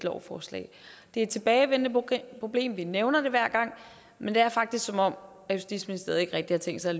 lovforslag det er et tilbagevendende problem og vi nævner det hver gang men det er faktisk som om justitsministeriet ikke rigtig har tænkt sig